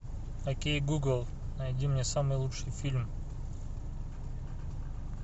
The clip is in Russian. окей гугл найди мне самый лучший фильм